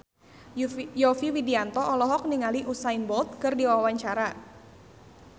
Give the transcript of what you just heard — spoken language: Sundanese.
Yovie Widianto olohok ningali Usain Bolt keur diwawancara